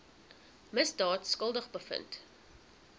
misdaad skuldig bevind